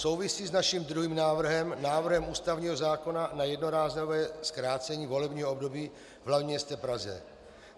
Souvisí s naším druhým návrhem, návrhem ústavního zákona na jednorázové zkrácení volebního období v hlavním městě Praze.